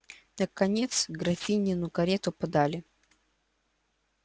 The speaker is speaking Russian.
наконец графинину карету подали